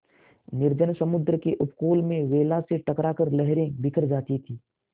निर्जन समुद्र के उपकूल में वेला से टकरा कर लहरें बिखर जाती थीं